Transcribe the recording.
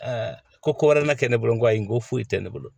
ko wɛrɛ ma kɛ ne bolo koyi ko foyi tɛ ne bolo